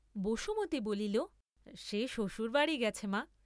বসুমতী বলিল সে শ্বশুর বাড়ী গেছে, মা।